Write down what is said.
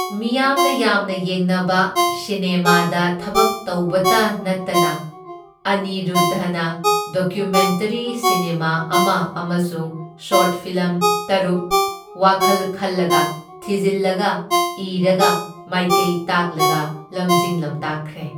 ꯃꯤꯌꯥꯝꯅ ꯌꯥꯝꯅ ꯌꯦꯡꯅꯕ ꯁꯤꯅꯦꯃꯥꯗ ꯊꯕꯛ ꯇꯧꯕꯇ ꯅꯠꯇꯅ ꯑꯅꯤꯔꯨꯗꯙꯅ ꯗꯣꯀ꯭ꯌꯨꯃꯦꯟꯇꯔꯤ ꯁꯤꯅꯦꯃꯥ ꯑꯃ ꯑꯃꯁꯨꯡ ꯁꯣꯔꯠ ꯐꯤꯂꯝ ꯇꯔꯨꯛ ꯋꯥꯈꯜ ꯈꯜꯂꯒ, ꯊꯤꯖꯤꯜꯂꯒ, ꯏꯔꯒ, ꯃꯥꯢꯀꯩ ꯇꯥꯛꯂꯒ ꯂꯝꯖꯤꯡ ꯂꯝꯇꯥꯛꯈ꯭ꯔꯦ꯫